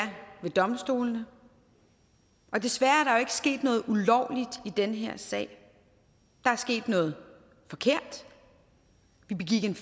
ved domstolene desværre er ikke sket noget ulovligt i den her sag der er sket noget forkert vi begik en